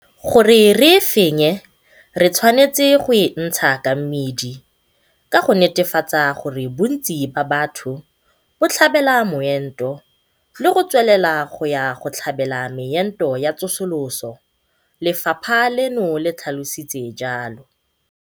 Gore re e fenye, re tshwanetse go e ntsha ka mmidi ka go netefatsa gore bontsi ba batho bo tlhabela moento le go tswelela go ya go tlhabela meento ya tsosoloso, lefapha leno le tlhalositse jalo.